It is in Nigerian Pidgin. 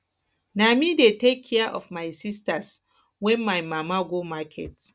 na me dey take care of my sistas wen my mama go market